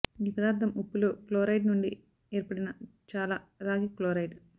ఈ పదార్థం ఉప్పులో క్లోరైడ్ నుండి ఏర్పడిన చాలా రాగి క్లోరైడ్